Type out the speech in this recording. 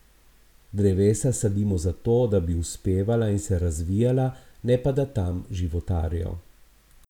Drevesa sadimo zato, da bi uspevala in se razvijala, ne pa da tam životarijo.